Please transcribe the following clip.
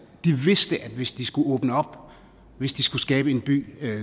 de vidste at hvis de skulle åbne op hvis de skulle skabe en by